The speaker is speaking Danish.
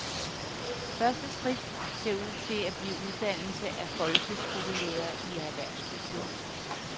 Første skridt ser ud til at blive uddannelse af folkeskolelærere i erhvervskultur.